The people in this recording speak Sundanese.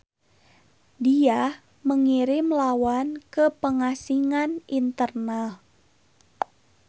Dia mengirim lawan ke pengasingan internal.